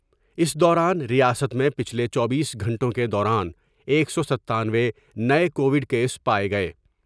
اس دوران ریاست میں پچھلے چوبیس گھنٹوں کے دوران ایک سو ستانوے نئے کوڈ کیس پائے گئے ۔